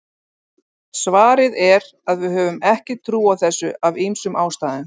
Svarið er að við höfum ekki trú á þessu af ýmsum ástæðum.